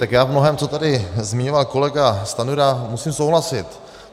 Tak já v mnohém, co tady zmiňoval kolega Stanjura, musím souhlasit.